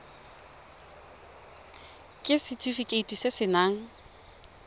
ke setefikeiti se se nayang